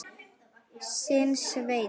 Þinn, Sveinn.